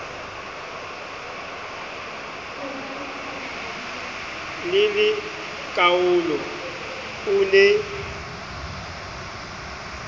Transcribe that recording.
le le kaalo o ne